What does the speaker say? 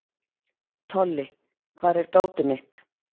Tolli, hvar er dótið mitt?